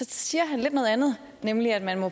siger han lidt noget andet nemlig at man jo